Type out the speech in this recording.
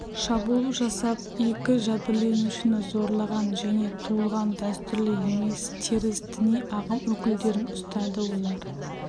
шабуыл жасап екі жәбірленушіні зорлаған және туылған дәстүрлі емес теріс діни ағым өкілдерін ұстады олар